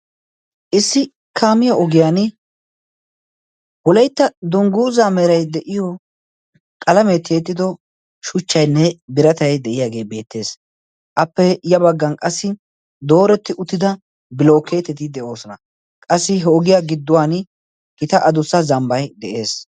Issi kaamiyo ogiyan huleitta dungguuza merai de'iyo qalameetti eexxido shuchchaynne biratay de'iyaagee beettees. appe ya baggan qassi dooretti uttida bilookeeteti de'oosona. qassi he ogiyaa gidduwan gita adussa zambbay de'ees.